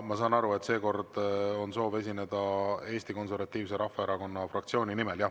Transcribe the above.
Ma saan aru, et seekord on soov esineda Eesti Konservatiivse Rahvaerakonna fraktsiooni nimel, jah.